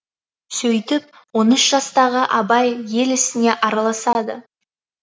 сөйтіп он үш жастағы абай ел ісіне араласады